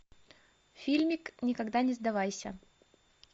фильмик никогда не сдавайся